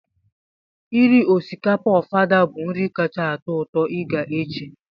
Iri osikapa Ofada bụ nri kacha atọ ụtọ ị ga-eche